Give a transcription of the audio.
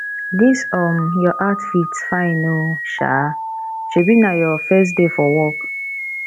dis um your outfit fine oo um shebi na your first day for work